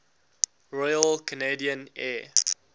royal canadian air